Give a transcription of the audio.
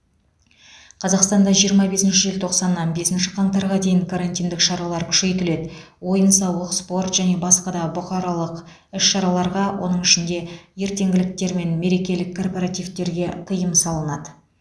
қазақстанда жиырма бесінші желтоқсаннан бесінші қаңтарға дейін карантиндік шаралар күшейтіледі ойын сауық спорт және басқа да бұқаралық іс шараларға оның ішінде ертеңгіліктер мен мерекелік корпоративтерге тыйым салынады